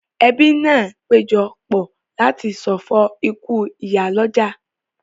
Ẹbí náà péjọ pọ̀ láti ṣọ̀fọ̀ ikú ìyálọ́jà